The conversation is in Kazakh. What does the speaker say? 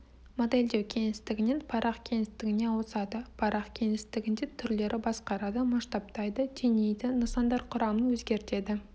модельдеу кеңістігінен парақ кеңістігіне ауысады парақ кеңістігінде түрлерді басқарады масштабтайды теңейді нысандар құрамын өзгертеді